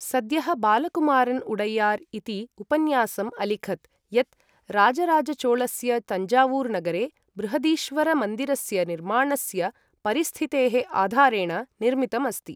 सद्यः बालकुमारन् उडैयार् इति उपन्यासम् अलिखत्, यत् राजराजचोळस्य तञ्जावूर् नगरे बृहदीश्वरमन्दिरस्य निर्माणस्य परिस्थितेः आधारेण निर्मितम् अस्ति।